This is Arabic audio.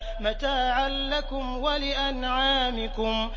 مَّتَاعًا لَّكُمْ وَلِأَنْعَامِكُمْ